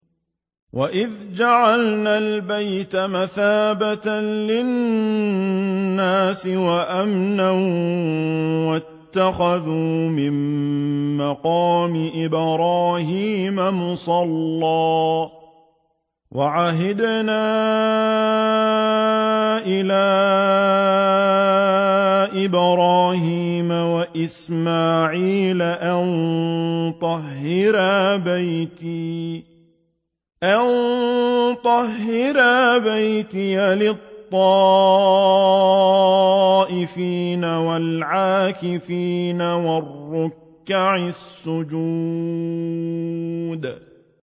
وَإِذْ جَعَلْنَا الْبَيْتَ مَثَابَةً لِّلنَّاسِ وَأَمْنًا وَاتَّخِذُوا مِن مَّقَامِ إِبْرَاهِيمَ مُصَلًّى ۖ وَعَهِدْنَا إِلَىٰ إِبْرَاهِيمَ وَإِسْمَاعِيلَ أَن طَهِّرَا بَيْتِيَ لِلطَّائِفِينَ وَالْعَاكِفِينَ وَالرُّكَّعِ السُّجُودِ